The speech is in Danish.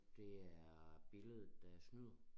Det er billedet der snyder